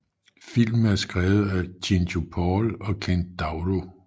Filmen er skrevet af Cinco Paul og Ken Daurio